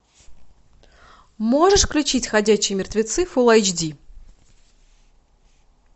можешь включить ходячие мертвецы фулл эйч ди